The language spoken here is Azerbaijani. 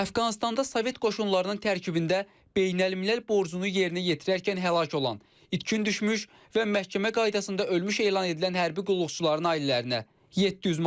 Əfqanıstanda sovet qoşunlarının tərkibində beynəlmiləl borcunu yerinə yetirərkən həlak olan, itkin düşmüş və məhkəmə qaydasında ölmüş elan edilən hərbi qulluqçuların ailələrinə 700 manat.